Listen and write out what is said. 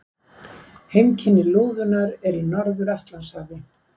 Heimkynni lúðunnar eru í Norður-Atlantshafi.